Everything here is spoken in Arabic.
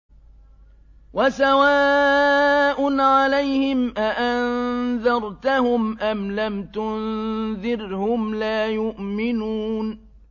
وَسَوَاءٌ عَلَيْهِمْ أَأَنذَرْتَهُمْ أَمْ لَمْ تُنذِرْهُمْ لَا يُؤْمِنُونَ